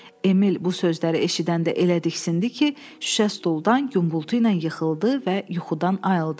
Emil bu sözləri eşidəndə elə diksindi ki, şüşə stuldan guppultu ilə yıxıldı və yuxudan ayıldı.